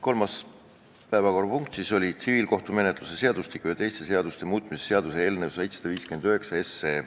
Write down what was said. Kolmas päevakorrapunkt tol istungil oligi tsiviilkohtumenetluse seadustiku ja teiste seaduste muutmise seaduse eelnõu 759.